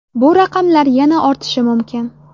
Bu raqamlar yana ortishi mumkin.